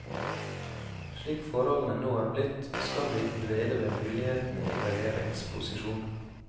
Slik forholdene nå er blitt, skal vi ikke dvele ved mulighetene i regjeringsposisjon.